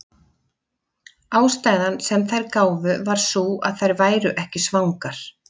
Ástæðan sem þær gáfu var sú að þær væru ekki svangar.